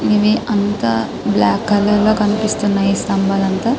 ఇవి అంత black colour కనిపిస్తున్నాయి సత్మబలంతా